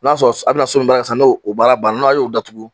O b'a sɔrɔ a bɛna so min baara daminɛ sisan, n'o baara ban na n'a y'o datugu